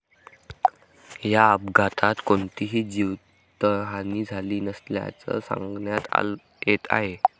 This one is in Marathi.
या अपघातात कोणतीही जीवितहानी झाली नसल्याचं सांगण्यात येत आहे.